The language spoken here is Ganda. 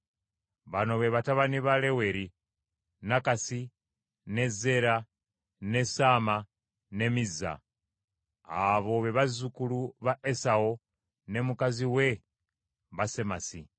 Bano be batabani ba Leweri: Nakasi, ne Zeera, ne Saama ne Mizza. Abo be bazzukulu ba Esawu ne mukazi we Basemasi.